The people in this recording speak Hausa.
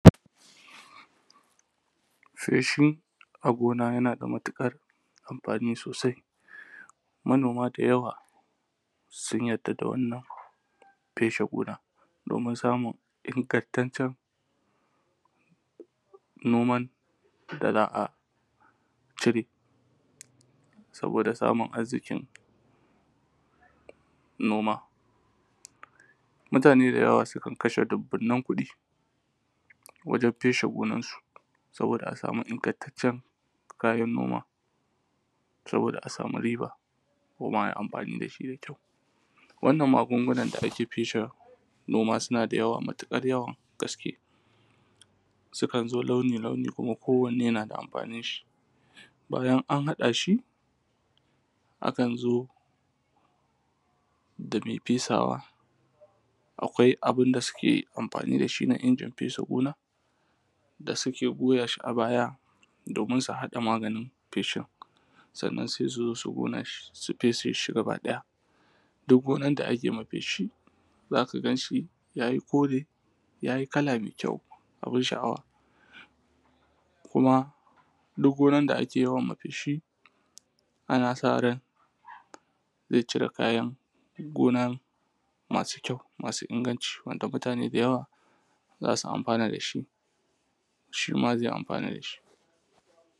feshi a gona yana da matuƙar amfani sosai manoma da yawa sun yarda da wannan feshe gonan domin samun ingantaccen noman da za a cire saboda samun arziƙin noma mutane da yawa sukan kashe dubbunan kuɗi wajen feshe gonan su saboda a samu ingantaccen kayan noma saboda a samu riba kuma ayi amfani da shi da kyau wannan magunguna da ake feshe gona suna da yawa matuƙar yawa gaske sukan zo launi launi kowane na da amfanin shi bayan an haɗa shi akan zo dame fesawa akwai abun da suke amfani da shi na injin fesa gona da suke goya shi a baya domin su haɗa maganin feshin sannan sai suzo su ƙona shi su feshe shi gaba ɗaya duk gonan da ake ma feshi zaka gan shi yayi kore yayi kala mai kyau abun sha’awa kuma duk gonan da ake wa yawan feshi ana sa ran zai cire kayan gona masu kyau masu inganci wanda mutane da yawa zasu amfana da shi shima zai amfana da shi